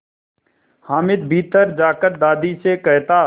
हामिद भीतर जाकर दादी से कहता